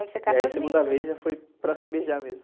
E aí a segunda vez já foi para se beijar mesmo.